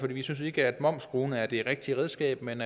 vi synes ikke at momsskruen er det rigtige redskab men